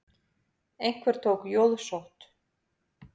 Einhver tók jóðsótt.